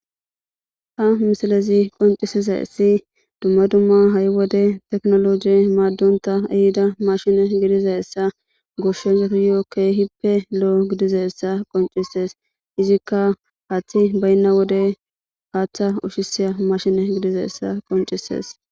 ha misalezi qoncisizaysi dumma dumma ha'i wode teknoloji maaddonta ehida mashine gidizayessa goshshayo keehippe lo'o gidizayessa qoncises izikka haththi baynna wode haaththa ushisiya mashine gidizayessa qoncises